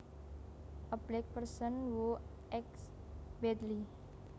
A black person who acts badly